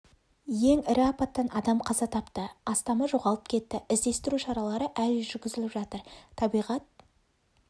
ең ірі апаттан адам қаза тапты астамы жоғалып кетті іздестіру шаралары әлі жүргізіліп жатыр табиғат